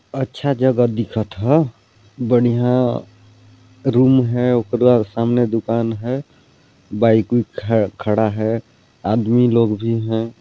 अच्छा जगह दिखथ ह बढ़िया रूम है उकरा सामने दुकान हे बाईक भी खड़ा हे आदमी लोग भी हैं।